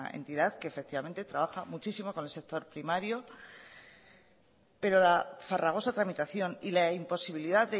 entidad que trabaja muchísimo con el sector primario pero la farragosa tramitación y la imposibilidad